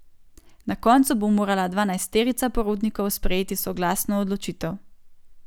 Na koncu bo morala dvanajsterica porotnikov sprejeti soglasno odločitev.